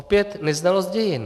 Opět neznalost dějin.